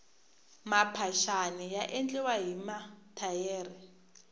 maphaxani ya endliwa hi mathayere